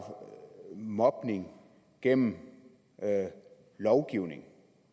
mobning gennem lovgivning